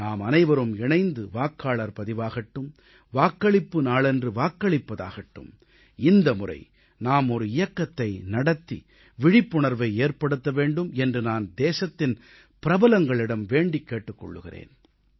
நாமனைவரும் இணைந்து வாக்காளர் பதிவாகட்டும் வாக்களிப்பு நாளன்று வாக்களிப்பதாகட்டும் இந்த முறை நாம் ஒரு இயக்கத்தை நடத்தி விழிப்புணர்வை ஏற்படுத்த வேண்டும் என்று நான் தேசத்தின் பிரபலங்களிடம் வேண்டிக் கேட்டுக் கொள்கிறேன்